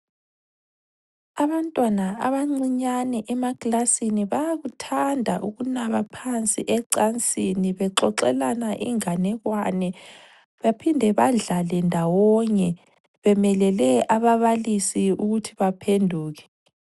Abantwana abancinyane emakilasini bayakuthanda ukunaba phansi ecansini bexoxelana inganekwane, bephinde badlale ndawonye bemelele ababalisi ukuthi baphenduke.